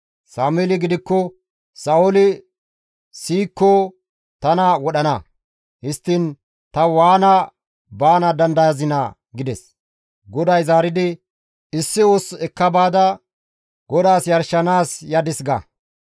Sameeli gidikko, «Sa7ooli siyikko tana wodhana; histtiin ta waana baana dandayazinaa?» gides. GODAY zaaridi, «Issi ussu ekka baada, ‹GODAAS yarshanaas yadis› ga.